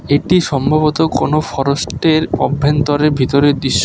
এটি সম্ভবত কোন ফরেস্টের অভ্যন্তরের ভিতরে দৃশ্য।